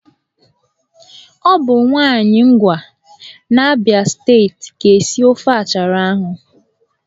Ọ bụ nwaanyị Ngwa n'Abịa steeti ga-esi ofe achara ahụ.